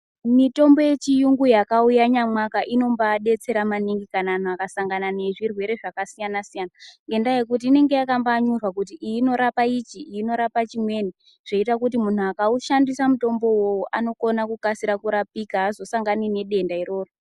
Chimweni yechirungu yakauya inobadetsera maningi kana muntu akasangana nezvirwere zvakasiyana siyana ngenda yekuti inenge yakanyorwa kuti iyi inorapa ichi iyi inorapa Chimweni zvoita kuti muntu akushandisa mutombo iwowo anokasira kurapika azosangani nendenda rimweni.